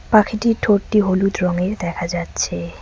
পাখিটির ঠোটটি হলুদ রঙের দেখা যাচ্ছে।